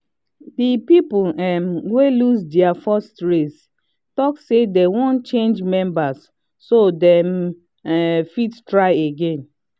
the people um wey lose their first race talk say they wan change members so they um fit try again